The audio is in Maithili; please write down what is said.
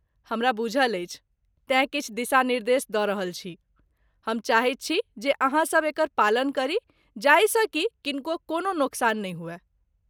हमरा बुझल अछि, तेँ किछु दिशा निर्देश द रहल छी, हम चाहैत छी जे अहाँ सभ एकर पालन करी जाहिसँ कि किनको कोनो नोकसान नहि हुए ।